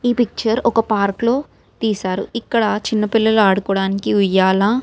ఈ పిక్చర్ ఒక పార్క్ లో తీశారు ఇక్కడ చిన్న పిల్లలు ఆడుకోడానికి ఉయ్యాల--